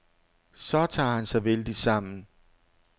Så tager han sig vældigt sammen.